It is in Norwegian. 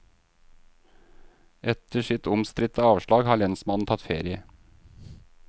Etter sitt omstridte avslag har lensmannen tatt ferie.